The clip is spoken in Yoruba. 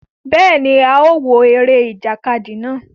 Béèni, a o wo eré ìjàkadì náà